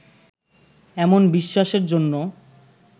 এমন বিশ্বাসের জন্য